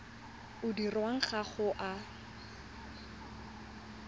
o dirwang ga o a